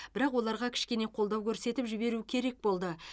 бірақ оларға кішкене қолдау көрсетіп жіберу керек болды